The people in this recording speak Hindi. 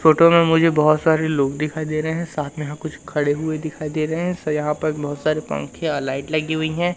फोटो में मुझे बहोत सारे लोग दिखाई दे रहे हैं साथ में यहां कुछ खड़े हुए दिखाई दे रहे हैं सा यहां प बहोत सारे पंखे अ लाइट लगी हुई हैं।